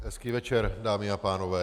Hezký večer, dámy a pánové.